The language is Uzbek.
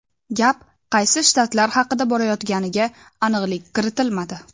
Gap qaysi shtatlar haqida borayotganiga aniqlik kiritilmadi.